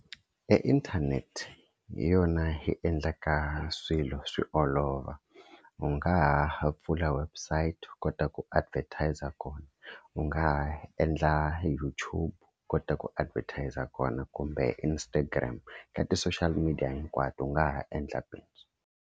E inthanete hi yona yi endlaka swilo swi olova, u nga ha pfula website u kota ku advertiser kona. U nga ha endla YouTube u kota ku advertiser kona, kumbe Instagram ka ti-social media hinkwato u nga ha endla bindzu.